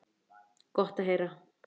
Gott að heyra.